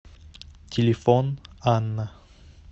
телефон анна